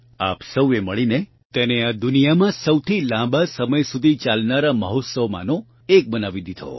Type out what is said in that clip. આપ સૌએ મળીને તેને આ દુનિયામાં સૌથી લાંબા સમય સુધી ચાલનારા મહોત્સવમાંનો એક બનાવી દીધો